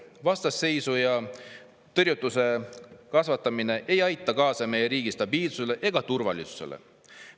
Vastasseisu ja tõrjutuse ei aita kaasa meie riigi stabiilsusele ega turvalisusele.